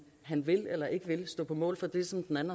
han vil eller ikke vil stå på mål for det som den